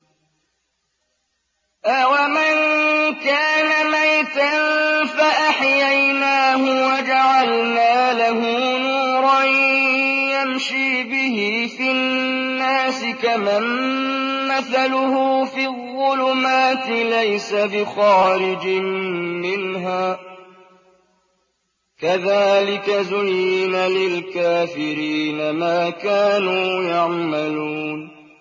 أَوَمَن كَانَ مَيْتًا فَأَحْيَيْنَاهُ وَجَعَلْنَا لَهُ نُورًا يَمْشِي بِهِ فِي النَّاسِ كَمَن مَّثَلُهُ فِي الظُّلُمَاتِ لَيْسَ بِخَارِجٍ مِّنْهَا ۚ كَذَٰلِكَ زُيِّنَ لِلْكَافِرِينَ مَا كَانُوا يَعْمَلُونَ